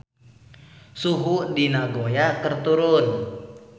Suhu di Nagoya keur turun